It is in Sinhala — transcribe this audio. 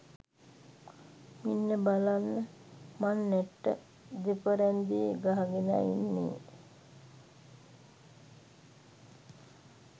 මෙන්න බලන්න මං නැට්ට දෙපරැන්දේ ගහගෙනයි ඉන්නේ!